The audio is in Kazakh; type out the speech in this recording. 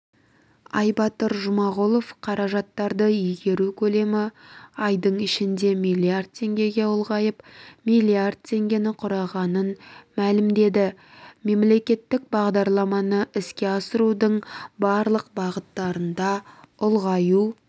айбатыр жұмағұлов қаражаттарды игеру көлемі айдың ішінде миллиард теңгеге ұлғайып миллиард теңгені құрағанын мәлімдеді мемлекеттік бағдарламаны іске асырудың барлық бағыттарында ұлғаю